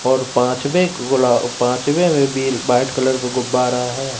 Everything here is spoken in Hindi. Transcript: और पांच में गुलाब पांचवें में बिल व्हाइट कलर को गुब्बारा है।